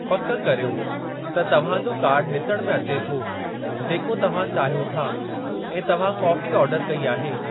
पक करियो त तव्हां जो कार्डु ॾिसणु में अचे थो जेको तव्हां चाहियो था, ऐं तव्हां कॉफ़ी आर्डर कई आहे।